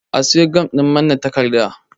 A siyo gam ɗin manne takarda